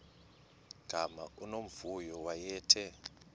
gama unomvuyo wayethe